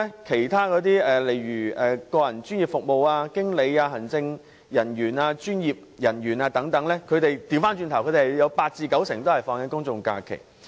其他行業的從業員，如個人專業服務、經理、行政人員、專業人員等，則有八至九成可享有公眾假期。